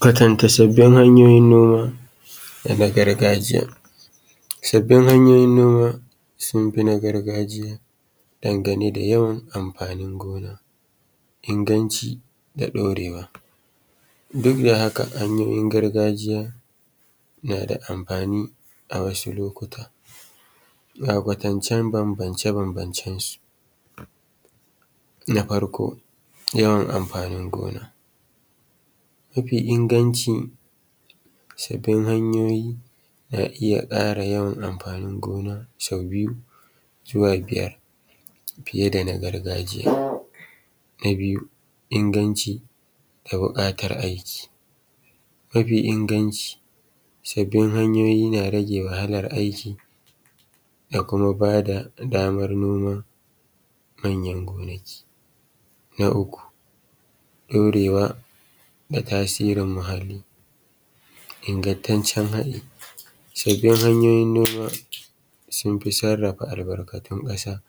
Kwatanta sabbin hanyoyin noma da na gargajiya. Sabbin hanyoyin noma sun fi na gargajiya dangane da yawan amfanin gona inganci da daurewa duk da haka hanyoyin gargajiya na da amfani a wasu lokutan, ga kwatancen bambance-bambancen su. Na farko yawan amfanin gona mafin inganci sabbin hqnyoyi na iya ruɓanya amfnin gona sau biyu zuwa biyar fiye da na gargajiya. Na biyu inganci da buƙatar aiki, mafi inganci sabbin hanyoyin na rage wahala aiki da kuma ba da damar noma manyan gonaki. Na uku daurewa da tasirin muhalli ingantacce sabbin hanyoyin noma sun fi sarrafa albarkatyn ƙasa.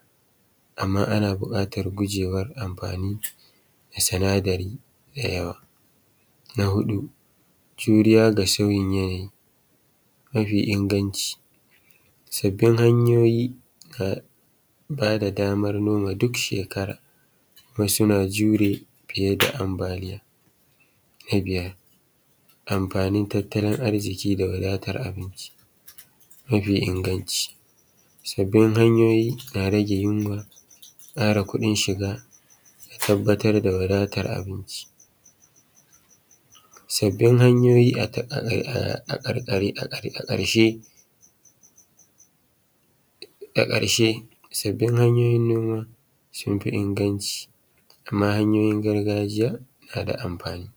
Amma ana buƙatar gujewa amfani da sinadari da yawa. An huɗu juriya ga sauyin yanayi mafi inganci. Sabbin hanyoyi ka ba da damar noma duk shekarar suna jure fiye da ambaliya. Na biyar amfanin tattalin arziki da wadatar abinci, sabbin hanyoyi na rage yunwa ƙara kuɗin shiga da tabbatar da wadatar abinci. Sabbin hanyoyi a karshe sun fi inganci amma hanyoyin gargajiya na da amfani.